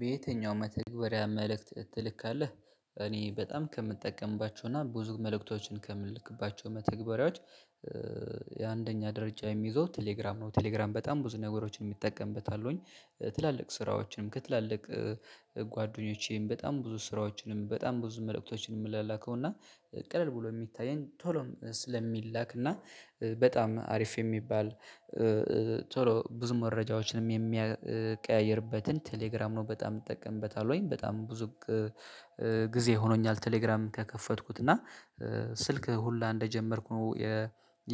በየትኛው መተግበሪያ መልእክት ትልካለህ? እኔ በጣም ከምጠቀምባቸው እና ብዙ መልእክቶችን ከምልክባቸው መተግበሪያዎች። የአንደኛ ደረጃ የሚይዘው ቴሌግራም ነው ቴሌግራም በጣም ብዙ ነገሮችን እጠቀምበታለሁኝ። ትላልቅ ስራዎችንም ከትላልቅ ጓደኞቼም በጣም ብዙ ስራዎችንም በጣም ብዙ መልእክቶችንም የምላላከው እና ቀለል ብሎ የሚታየን ቶሎም ስለሚላክ እና በጣም አሪፍ የሚባል። ቶሎ ብዙ መረጃዎችንም የሚቀያይርበትን ቴሌግራም ነው በጣም እጠቀምበታለሁኝ። በጣም ብዙ ጊዜ ሆኖኛል። ቴሌግራም ከከፈትኩት እና ስልክ ሁላ እንደጀመርኩ ነው